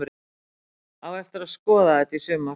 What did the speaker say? Á eftir að skoða þetta í sumar!!!